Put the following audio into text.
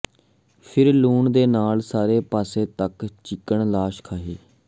ਫਿਰ ਲੂਣ ਦੇ ਨਾਲ ਸਾਰੇ ਪਾਸੇ ਤੱਕ ਚਿਕਨ ਲਾਸ਼ ਖਹਿ